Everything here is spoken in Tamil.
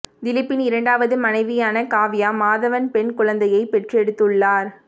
திலீப்பின் இரண்டாவது மனைவியான காவ்யா மாதவன் பெண் குழந்தையை பெற்றெடுத்துள்ளார்